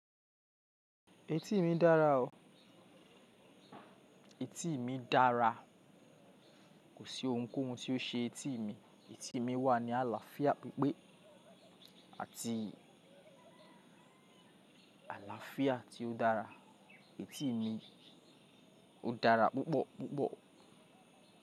Etí mi dára o. Etí mi dára. Kò sí ohunkóhun tí ó ṣe etí mi. Etí mi wà ní àlàáfíà pípé àti àlàáfíà tí ó dára. Etí mi ó dára púpọ̀púpọ̀.